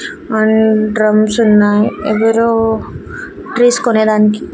అన్ డ్రమ్సున్నాయి ఎవరో ట్రీస్ కొనేదానికి.